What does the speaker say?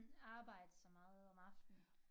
Arbejde så meget om aftenen